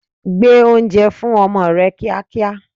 Gbé oúnjẹ fún ọmọ rẹ kíá kíá!